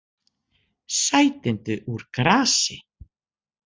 Sætindi úr grasi